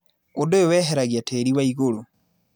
ũndũ ũyũ weheragia tĩrĩ waigũrũ.